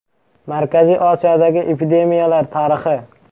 Markaziy Osiyodagi epidemiyalar tarixi.